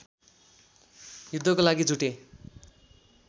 युद्धको लागि जुटे